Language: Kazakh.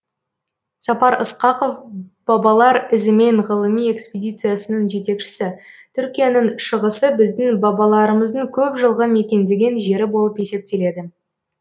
сапар ысқақов бабалар ізімен ғылыми экспедициясының жетекшісі түркияның шығысы біздің бабаларымыздың көп жылғы мекендеген жері болып есептеледі